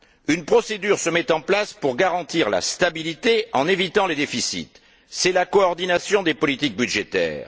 Une procédure se met en place pour garantir la stabilité en évitant les déficits, c'est la coordination des politiques budgétaires.